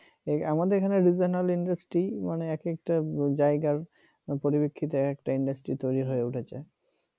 আমাদের এখানে regional industry মানে এক একটা জায়গার পরিপ্রেক্ষিতে এক একটা industry তৈরি হয়ে উঠেছে।